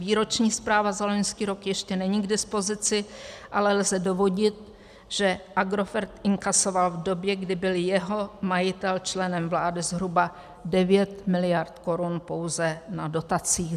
Výroční zpráva za loňský rok ještě není k dispozici, ale lze dovodit, že Agrofert inkasoval v době, kdy byl jeho majitel členem vlády, zhruba 9 mld. korun pouze na dotacích.